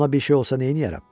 Ona bir şey olsa neyləyərəm?